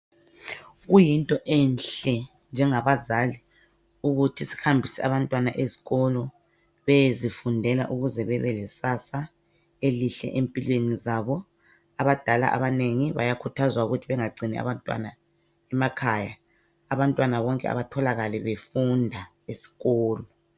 Kuyinto enhle njengabazali ukuthi sihambise abantwana eskolo beyezifundela ukuze bebelekusasa elihle empilweni zabo. Abadala abanengi bayakhuthazwa ukuthi bengagcini abantwana emakhaya. Abantwana bonke abatholakale befunda esikolo